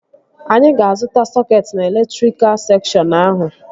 Anyị ga-azụta sọketi na elektrika sekshọn ahụ